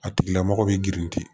A tigila mɔgɔ bɛ girin ten